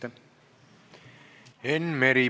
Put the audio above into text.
Enn Meri, palun!